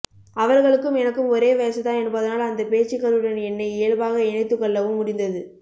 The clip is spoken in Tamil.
அவர்களுக்கும் எனக்கும் ஒரே வயசுதான் என்பதனால் அந்த பேச்சுக்களுடன் என்னை இயல்பாக இணைத்துக்கொள்ளவும் முடிந்தது